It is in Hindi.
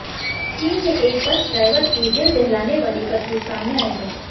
चीन में एक बस ड्राइवर की दिल दहलाने वाली करतूत सामने आई है